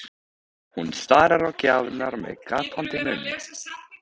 Hún starir á gjafirnar með gapandi munn.